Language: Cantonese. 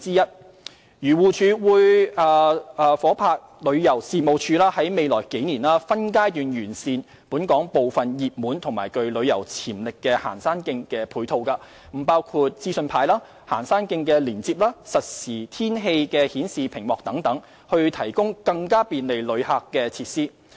漁農自然護理署會夥拍旅遊事務署在未來數年分階段完善本港部分熱門及具旅遊潛力的行山徑的配套，包括資訊牌、行山徑連接和實時天氣顯示屏幕等，以提供更便利旅客的設施。